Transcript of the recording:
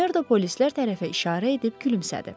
Makmerdo polislər tərəfə işarə edib gülümsədi.